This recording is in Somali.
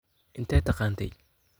Inte taqanthy.